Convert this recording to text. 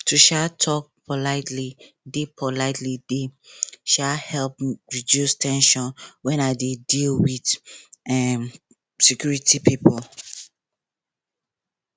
to um talk politely dey politely dey um help reduce ten sion when i dey deal with um security people